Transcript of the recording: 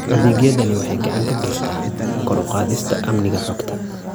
Adeegyadani waxay gacan ka geystaan ??kor u qaadista amniga xogta.